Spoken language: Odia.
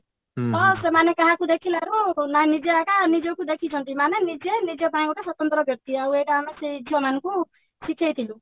ତ ସେମାନେ କାହାକୁ ଦେଖିଲାରୁ ନା ନିଜେ ଆକା ନିଜକୁ ଦେଖିଛନ୍ତି ମାନେ ନିଜେ ନିଜ ପାଇଁ ଗୋଟେ ସ୍ଵତନ୍ତ୍ର ବ୍ୟକ୍ତି ଆଉ ଏଇଟା ଆମେ ସେଇ ଝିଅ ମାନଙ୍କୁ ଶିଖେଇଥିଲୁ